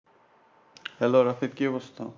Hello Rafiq কি অবস্থা?